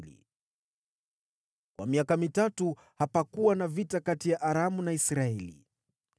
Kwa miaka mitatu hapakuwa na vita kati ya Aramu na Israeli.